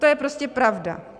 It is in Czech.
To je prostě pravda.